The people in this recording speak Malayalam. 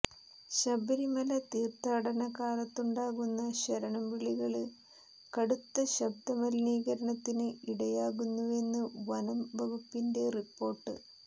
ശബരിമല തീര്ത്ഥാടന കാലത്തുണ്ടാകുന്ന ശരണം വിളികള് കടുത്ത ശബ്ദമലിനീകരണത്തിന് ഇടയാകുന്നുവെന്ന് വനം വകുപ്പിന്റെ റിപ്പോര്ട്ട്